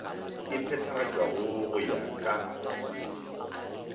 e phethagatšwago go ya ka